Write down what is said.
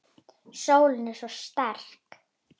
Sólin er svo sterk.